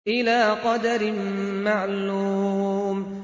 إِلَىٰ قَدَرٍ مَّعْلُومٍ